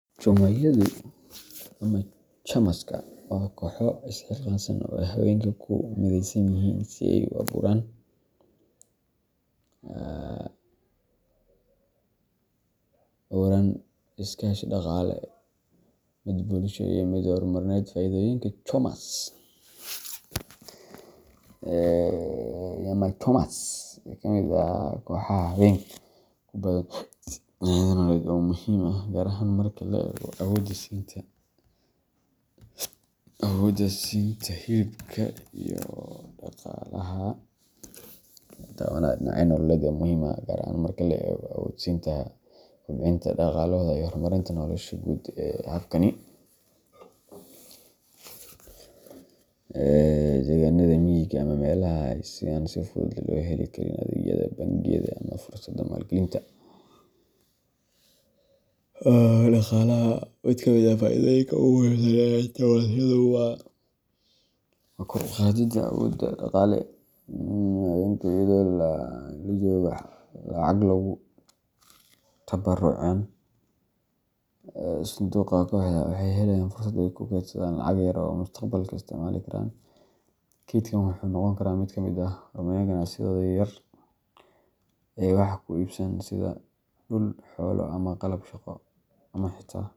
Chama-yadu ama chamaska waa kooxo isxilqaan ah oo ay haweenka ku mideysan yihiin si ay u abuuraan nidaamyo iskaashi dhaqaale, mid bulsho, iyo mid horumarineed. Fa'iidooyinka nyama chamas-ka ee kooxaha haweenka waa kuwo badan oo taabanaya dhinacyo nololeed oo muhiim ah, gaar ahaan marka la eego awood-siinta haweenka, kobcinta dhaqaalahooda, iyo horumarinta noloshooda guud. Habkani wuxuu si gaar ah ugu faa'iidaystaa haweenka ku nool deegaanada miyiga ama meelaha aan si fudud loo heli karin adeegyada bangiyada ama fursadaha maalgelinta dhaqaalaha. Mid ka mid ah faa'iidooyinka ugu muhiimsan ee chamas-yadu waa kor u qaadidda awoodda dhaqaale ee haweenka. Iyadoo ay haweenku si joogto ah lacag ugu tabarucayaan sanduuqa kooxda, waxay helayaan fursad ay ku kaydsadaan lacag yar oo ay mustaqbalka isticmaali karaan. Kaydkan wuxuu noqon karaa mid ay ku horumariyaan ganacsiyadooda yaryar, ay wax ku iibsadaan sida dhul, xoolo ama qalab shaqo, ama xitaa.